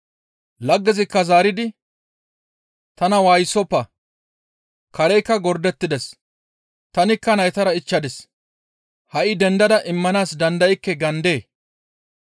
Laggezikka zaaridi, ‹Tana waayisoppa; kareykka gordettides; tanikka naytara ichchadis. Ha7i dendada immanaas dandaykke› gaandee?